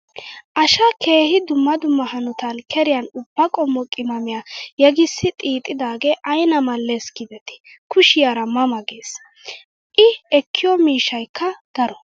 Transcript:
Asha keehi dumma hanotan keriyan ubba qommo qimaamiya yeggisi xiixxidooge ayina mal"s giideti kushiyaara ma ma ges. I ekkiyoo miishayikka daro.